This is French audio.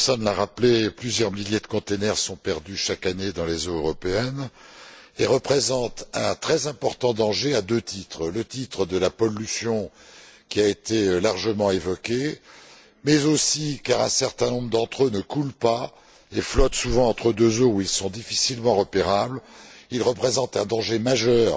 Simpson l'a rappelé, plusieurs milliers de conteneurs sont perdus chaque année dans les eaux européennes et représentent un danger très important à deux titres en termes de pollution, ce qui a été largement évoqué, mais aussi, car un certain nombre d'entre eux ne coulent pas et flottent souvent entre deux eaux où ils sont difficilement repérables, ils représentent un danger majeur